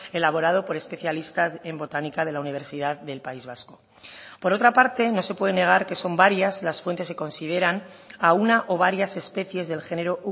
elaborado por especialistas en botánica de la universidad del país vasco por otra parte no se puede negar que son varias las fuentes que consideran a una o varias especies del genero